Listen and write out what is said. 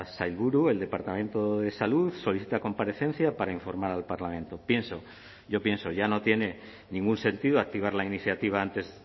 sailburu el departamento de salud solicita comparecencia para informar al parlamento pienso yo pienso ya no tiene ningún sentido activar la iniciativa antes